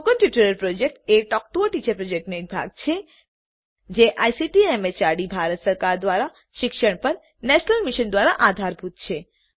spoken tutorial project a talk to a teacher પ્રોજેક્ટનો એક ભાગ છે જે આઇસીટી એમએચઆરડી ભારત સરકાર દ્વારા શિક્ષણ પર નેશનલ મિશન દ્વારા આધારભૂત છે